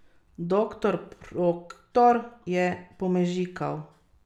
Večino časa preživi v zunanjem sončnem sistemu, doseže celo orbito Plutona.